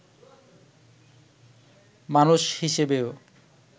মানুষ হিসেবেও